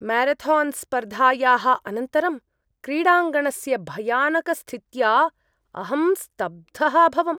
म्यारथान्स्पर्धायाः अनन्तरं क्रीडाङ्गणस्य भयानकस्थित्या अहं स्तब्धः अभवम्।